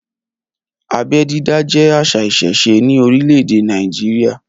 Abẹ́ dídá jẹ àṣà ìsẹ̀se ní orílẹ̀ èdè Nàìjíríà.